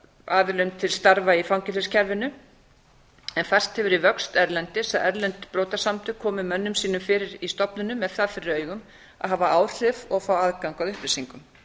aðilum til starfa í fangelsiskerfinu en færst hefur í vöxt erlendis að erlend brotasamtök komi mönnum sínum fyrir í stofnunum með það fyrir augum að hafa áhrif og fá aðgang að upplýsingum